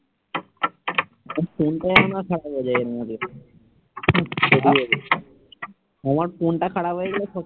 আমার ফোন খারাপ হয়ে গেলে